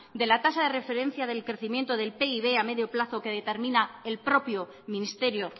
de la tasa de referencia del crecimiento del pib a medio plazo que determina el propio ministerio